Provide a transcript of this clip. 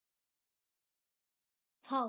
Eða of hátt.